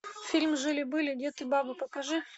фильм жили были дед и баба покажи